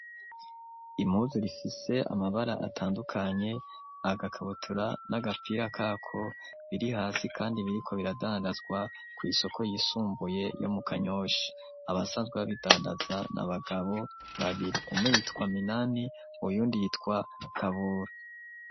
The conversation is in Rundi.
Impuzu rifise amabara atandukanye agakabutura n'agapira kako biri hasi kandi biriko biradandazwa ku isoko yisumbuye yo mu kanyosha abasanzwe babidandaza na bagabo babiri umwe yitwa Minani uyundi yitwa Kabura.